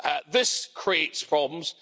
This creates problems.